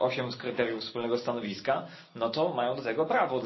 8 z kryteriów wspólnego stanowiska, to mają do tego prawo.